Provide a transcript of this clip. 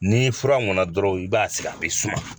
Ni fura mɔnna dɔrɔn i b'a sigi a bɛ suma